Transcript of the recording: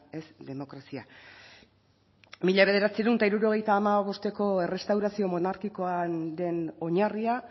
ez demokrazia mila bederatziehun eta hirurogeita hamabostko errestaurazio monarkikoaren oinarria